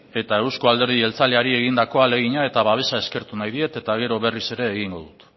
eta euzko alderdi jeltzaleari egindako ahalegina eta babesa eskertu nahi diet eta gero berriz ere egingo dut